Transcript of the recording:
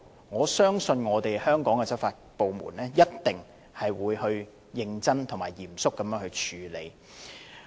我相信香港的執法部門一定會認真及嚴肅處理。